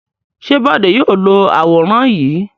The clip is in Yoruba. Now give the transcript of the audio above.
Ṣé Bọ̀dé yóò lo àwòrán yìí?